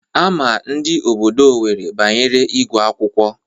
Ama ndị obodo Owerri banyere ịgụ akwụkwọ.